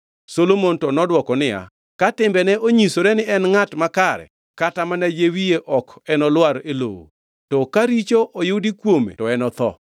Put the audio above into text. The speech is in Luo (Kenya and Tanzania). Solomon to nodwoko niya, “Ka timbene onyisore ni en ngʼat makare kata mana yie wiye ok enolwar e lowo; to ka richo oyudi kuome to enotho.”